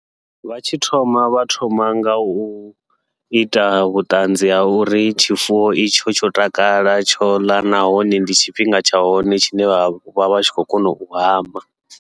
Vha tshi thoma vha thoma ngau ita vhuṱanzi ha uri tshifuwo itsho tsho takala tsho ḽa, nahone ndi tshifhinga tsha hone tshine vha vha vha tshi khou kona u hama.